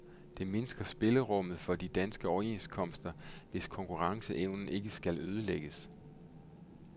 Det mindsker spillerummet for de danske overenskomster, hvis konkurrenceevnen ikke skal ødelægges.